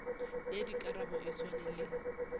ya dikarabo e swane le